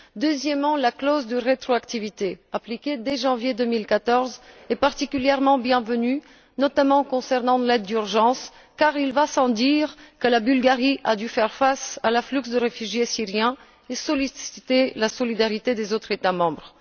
Deuxièmement, la clause de rétroactivité appliquée dès janvier 2014 est particulièrement bienvenue, notamment concernant l'aide d'urgence, car il va sans dire que la Bulgarie a dû faire face à l'afflux de réfugiés syriens et solliciter la solidarité des autres États membres.